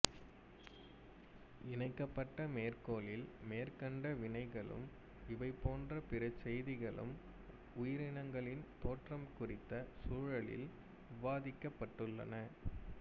இணைக்கப்பட்ட மேற்கோளில் மேற்கண்ட வினைகளும் இவைபோன்ற பிறசெய்திகளும் உயிரினங்களின் தோற்றம் குறித்த சூழலில் விவாதிக்கப்பட்டுள்ளன